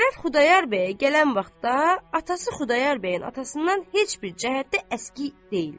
Şərəf Xudayar bəyə gələn vaxtda atası Xudayar bəyin atasından heç bir cəhətdə əski deyildi.